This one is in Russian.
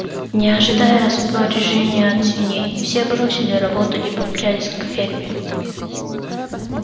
не ожидая распоряжений от свиней все бросили работу и помчались к ферме